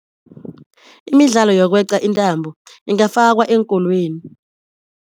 Imidlalo yokweca intambo ingafakwa eenkolweni.